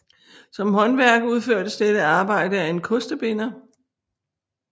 Som håndværk udførtes dette arbejde af en kostebinder